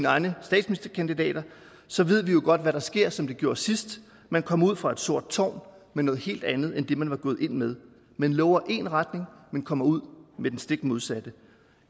egne statsministerkandidater så ved vi jo godt hvad der sker som det gjorde sidst man kom ud fra et sort tårn med noget helt andet end det man var gået ind med man lover én retning men kommer ud med den stik modsatte